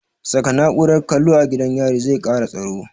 Saka na'urar kallo a gidan yari zai kara tsaro